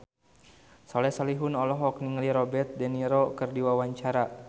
Soleh Solihun olohok ningali Robert de Niro keur diwawancara